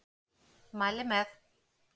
Mæli með.